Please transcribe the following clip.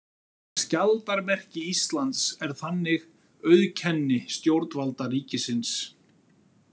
Skjaldarmerki Íslands er þannig auðkenni stjórnvalda ríkisins.